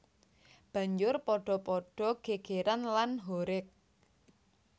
Banjur padha padu gègèran lan horeg